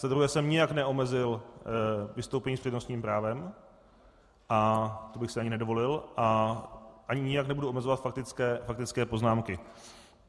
Za druhé jsem nijak neomezil vystoupení s přednostním právem a to bych si ani nedovolil a ani nijak nebudu omezovat faktické poznámky.